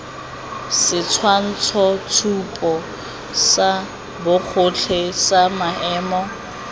setshwantshotshupo sa bogotlhe sa maemo